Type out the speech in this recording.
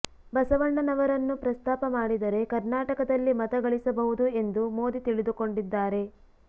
ಬಸವಣ್ಣನವರನ್ನು ಪ್ರಸ್ತಾಪ ಮಾಡಿದರೆ ಕರ್ನಾಟಕದಲ್ಲಿ ಮತ ಗಳಿಸಬಹುದು ಎಂದು ಮೋದಿ ತಿಳಿದುಕೊಂಡಿದ್ದಾರೆ